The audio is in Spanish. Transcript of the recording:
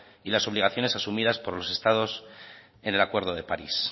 y las obligaciones asumidas por los estados en el acuerdo de parís